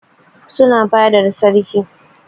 Suna fadar sarki